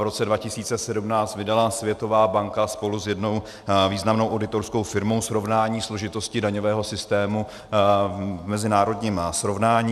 V roce 2017 vydala Světová banka spolu s jednou významnou auditorskou firmou srovnání složitosti daňového systému v mezinárodním srovnání.